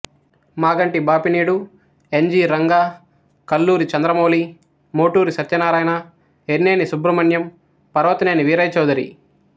Maganti Bapineedu N G Ranga Kalluri Chandramouli Moturi Satyanarayana Yerneni Subrahmanyam Parvataneni Veeraiah Chowdary